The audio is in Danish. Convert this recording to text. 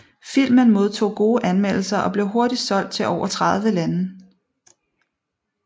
Filmen modtog gode anmeldelser og blev hurtigt solgt til over 30 lande